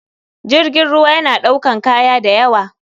Jirgin ruwa yana ɗaukan kaya dayawa.